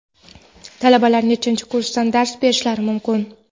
Talabalar nechanchi kursdan dars berishlari mumkin?.